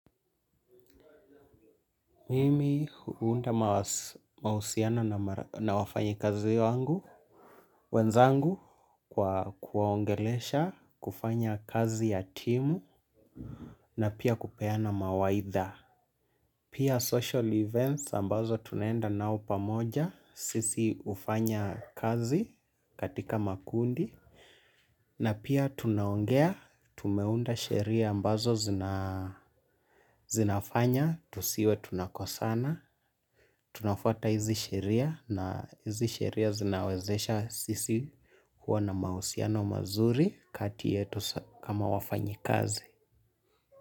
Mimi huunda mahusiano na wafanyikazi wangu wenzangu kwa kuwaongelesha, kufanya kazi ya timu na pia kupeana mawaidha. Pia social events ambazo tunaenda nao pamoja, sisi hufanya kazi katika makundi na pia tunaongea, tumeunda sheria ambazo zinaa zinafanya tusiwe tunakosana, tunafuata hizi sheria na hizi sheria zinawezesha sisi kuwa na mahusiano mazuri kati yetu kama wafanyikazi.